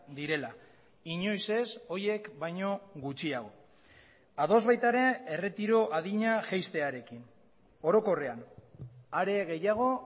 direla inoiz ez horiek baino gutxiago ados baita ere erretiro adina jaistearekin orokorrean are gehiago